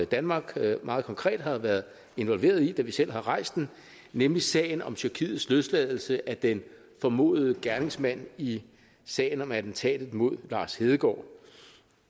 danmark meget konkret har været involveret i da vi selv har rejst den nemlig sagen om tyrkiets løsladelse af den formodede gerningsmand i sagen om attentatet mod lars hedegaard